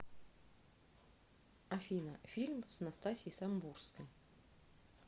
афина фильм с настасьей самбурской